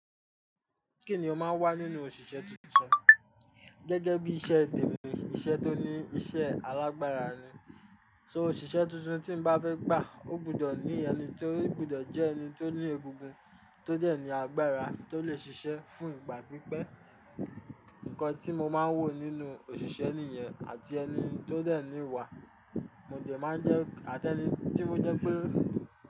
Kínni o máa ń wà nínú òṣìṣẹ́ tuntun gẹ́gẹ́ bí iṣẹ́ tèmi iṣẹ́ tó ní iṣẹ́ alágbára ni. So òṣìṣẹ́ tuntun tí n bá fẹ́ gbà, ó gbudọ̀ ní ẹni tó gbudọ̀ jẹ́ ẹni tó ní egungun, tó dẹ̀ ní agbára tó lè ṣiṣẹ́ fún ìgbà pípẹ́. Ǹkan tí mo máa ń wò nínú òṣìṣẹ́ nìyẹn àti ẹni tó dẹ̀ ní ìwà, mo dẹ̀ máa ń jẹ́ atẹni tí ó jẹ́ pé.